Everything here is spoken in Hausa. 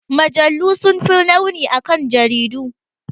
Mujallu sun fi launi akan jaridu.